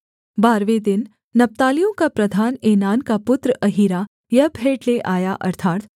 बारहवें दिन नप्तालियों का प्रधान एनान का पुत्र अहीरा यह भेंट ले आया